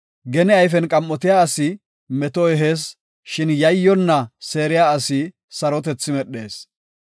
Gene ayfen qam7otiya asi meto ehees; shin yayyonna seeriya asi sarotethi medhees.